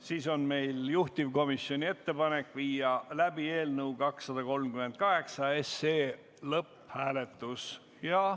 Siis on meil juhtivkomisjoni ettepanek viia läbi eelnõu 238 lõpphääletus.